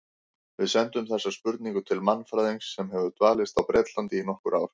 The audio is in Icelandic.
Við sendum þessa spurningu til mannfræðings sem hefur dvalist á Bretlandi í nokkur ár.